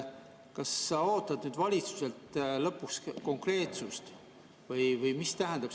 Kas sa ootad valitsuselt lõpuks konkreetsust?